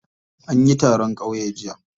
Anyi taron kyau jiya.